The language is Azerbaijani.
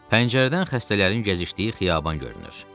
Pəncərədən xəstələrin gəzişdiyi xiyaban görünür.